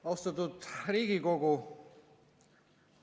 Austatud Riigikogu!